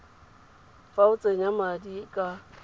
fa o tsenya madi ka